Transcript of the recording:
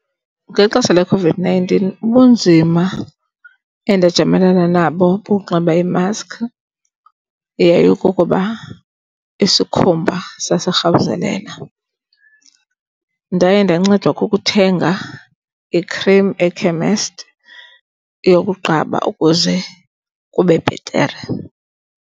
Ngexesha leCOVID-nineteen ubunzima endajamelana nabo ukunxiba imaski yayikukuba isikhumba sasirhawuzelela. Ndaye ndancedwa kukuthenga ikhrim ekhemesti yokuqaba ukuze kube bhetere.